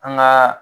An gaa